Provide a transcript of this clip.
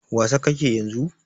Wasa ka ke yanzu?